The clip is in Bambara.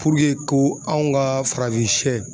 ko anw ka farafinsiyɛ.